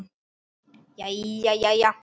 Jæja jæja.